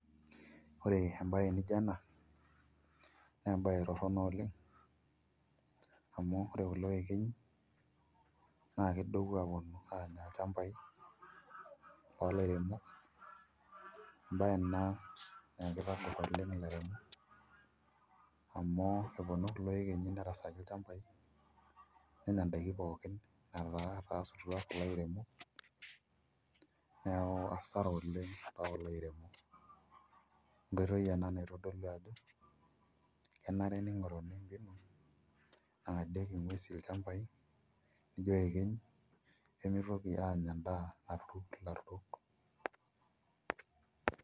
Orr embae nijo ena na embae toronok oleng amu ore kulo ekenyi nakedou aponu anya lchambai olairemonok, embae ena na kitagor ilairemok amu etarasutua iyekenyi nerasaki lchambai nenya ndakini pooki neaku asara olaremok, entoki enabnaitodolu ajo keenare angadie lchambai iyekenyi nemitoki anya endaa.